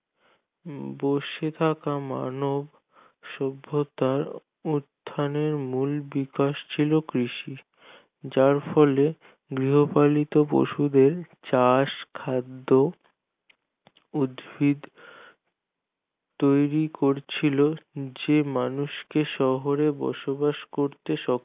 যার ফলে গৃহপালিত পশুদের চাষ খাদ্য উদ্ভিদ তৈরি করছিল যে মানুষকে শহরে বসবাস করতে সক্ষম